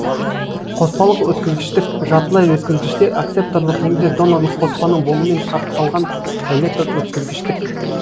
қоспалық өткізгіштік жартылай өткізгіште акцепторлық немесе донорлык қоспаның болуымен шартталған электр өткізгіштік